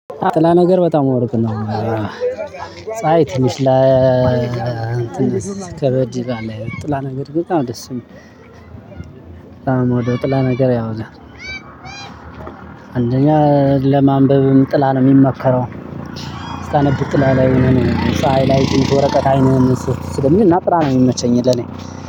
ጥላ ነገር በጣም አውርቅ ነው። ፀሀይ ትንሽ ለእንትን ከበድ ይላል ጥላ ነገር በጣም ነው ደስሚል። ጥላ ነገር ያው ለማንበብም ጥላ ነው የሚመከረው። ስታነብ ጥላ ላይ የሆነ ነገር ነው ሳሃይ ላይ ጥልቅ የሚዞረቀቀ አይኑን ስለሚናጥራ ነው የሚመቸኝ የለኝ።